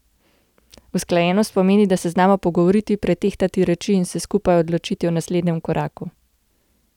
Usklajenost pomeni, da se znamo pogovoriti, pretehtati reči in se skupaj odločiti o naslednjem koraku.